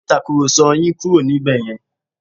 Ẹ gbé Ìtàkùrọ̀sọ yín kúrò níbẹ̀ yẹn!